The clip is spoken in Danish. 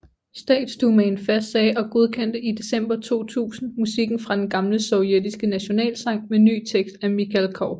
Statsdumaen fastsagde og godkendte i december 2000 musikken fra den gamle sovjetiske nationalsang med ny tekst af Mikhalkov